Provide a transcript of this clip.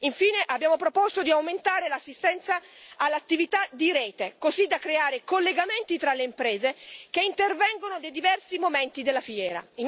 Infine, abbiamo proposto di aumentare l'assistenza all'attività di rete, così da creare collegamenti tra le imprese che intervengono nei diversi momenti della fiera.